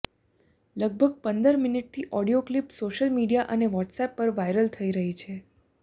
લગભગ પંદર મિનિટની ઓડિયો ક્લિપ સોશયલ મીડિયા અને વ્હોટ્સએપ પર વાઈરલ થઈ રહી છે